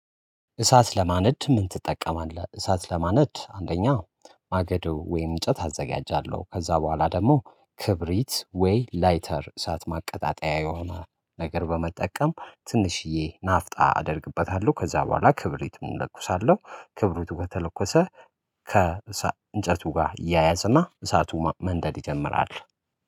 እሳት ለማነድ ምን ትጠቀማለህ? እሳት ለማነድ አንደኛ ማገዶ ወይም እንጨት አዘጋጃለው። ከዛ በኋላ ደግሞ ክብሪት ወይ ላይተር እሳት ማቀጣጠያ የሆነ ነገር በመጠቀም ትንሽዬ ናፍጣ አደርግበታለው። ከዛ በኋላ ክብሪትም እለኩሳለሁ ክብሪቱ በተለኮሰ ከእንጨቱ ጋር ያያዝ እና እሳቱ መንደድ ይጀምራል።